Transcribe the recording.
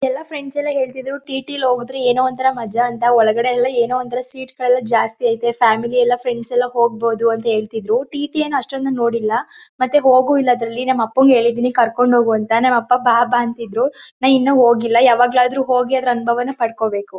ಎಲ್ಲಾ ಫ್ರೆಂಡ್ಸ್ ಎಲ್ಲ ಹೇಳ್ತಿದ್ರು ಟಿ_ಟಿ ಅಲ್ ಹೋದ್ರೆ ಏನೋ ಒಂಥರ ಮಜ ಅಂತ ಒಳಗಡೆ ಎಲ್ಲ ಏನೋ ಒಂತರ ಸೀಟ್ಗಲ್ಲೆಲ್ಲ ಜಾಸ್ತಿ ಅಯ್ತೆ ಫ್ಯಾಮಿಲಿ ಎಲ್ಲ ಫ್ರೆಂಡ್ಸ್ ಎಲ್ಲ ಹೋಗ್ಬೋದು ಅಂತ ಹೇಳ್ತಿದ್ರು ಟಿ_ಟಿ ಏನ್ ಅಷ್ಟೊಂದ್ ನಾನ್ ನೋಡಿಲ್ಲಾ ಮತ್ತೆ ಹೋಗು ಇಲ್ಲ ಅದ್ರಲ್ಲಿ ನಮ್ ಅಪ್ಪಂಗೆ ಹೇಳಿದಿನಿ ಕರ್ಕೊಂಡ್ ಹೋಗು ಅಂತ ನಮ್ ಅಪ್ಪ ಬಾ ಬಾ ಅಂತಿದ್ರು ನಾ ಇನ್ನ ಹೋಗಿಲ್ಲ ಯಾವಾಗ್ಲಾದ್ರೂ ಹೋಗಿ ಅದ್ರ್ ಅನುಭವನ ಪಡ್ಕೋಬೇಕು.